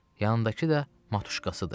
Yanındakı da matuşkasıdır.